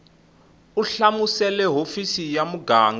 u hlamusela hofisi ya muganga